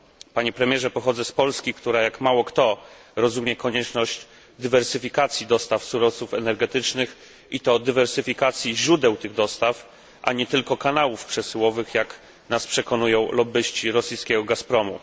Panie premierze, pochodzę z Polski, która jak mało który kraj rozumie konieczność dywersyfikacji dostaw surowców energetycznych i to dywersyfikacji źródeł tych dostaw, a nie tylko kanałów przesyłowych, jak nas przekonują lobbyści rosyjskiego Gazpromu.